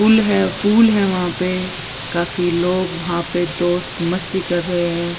Pool है pool है वहा पे काफी लोग वहा पे दोस्त मस्ती कर रहे है।